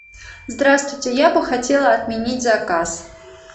здравствуйте я бы хотела отменить заказ